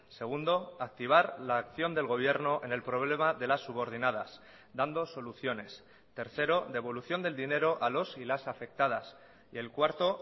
segundo activar la acción del gobierno en el problema de las subordinadas dando soluciones tercero devolución del dinero a los y las afectadas y el cuarto